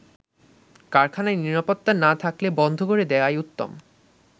কারখানায় নিরাপত্তা না থাকলে বন্ধ করে দেয়াই উত্তম।